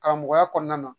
Karamɔgɔya kɔnɔna na